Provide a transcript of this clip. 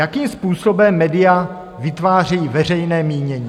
Jakým způsobem média vytváří veřejné mínění?